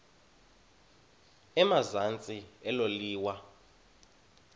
emazantsi elo liwa